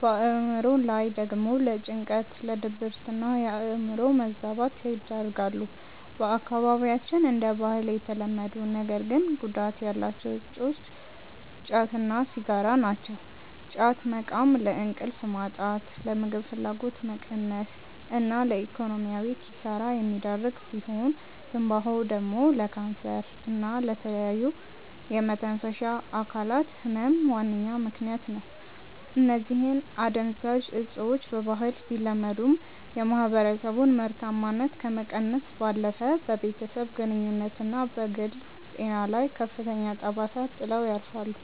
በአእምሮ ላይ ደግሞ ለጭንቀት፣ ለድብርትና የአእምሮ መዛባት ይዳርጋሉ። በአካባቢያችን እንደ ባህል የተለመዱ ነገር ግን ጉዳት ያላቸው እፆች ጫት እና ሲጋራ ናቸው። ጫት መቃም ለእንቅልፍ ማጣት፣ ለምግብ ፍላጎት መቀነስ እና ለኢኮኖሚያዊ ኪሳራ የሚዳርግ ሲሆን፤ ትንባሆ ደግሞ ለካንሰር እና ለተለያዩ የመተንፈሻ አካላት ህመም ዋነኛ ምከንያት ነው። እነዚህ አደንዛዥ እፆች በባህል ቢለመዱም፣ የማህበረሰቡን ምርታማነት ከመቀነስ ባለፈ በቤተሰብ ግንኙነትና በግል ጤና ላይ ከፍተኛ ጠባሳ ጥለው ያልፋሉ።